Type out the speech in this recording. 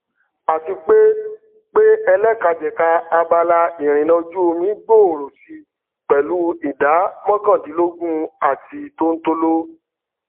àti pé pé ẹlẹkajẹka abala ìrìnà ojúomi gbòòrò si pẹlú ìdá mọkàndínlógún àti tóntóló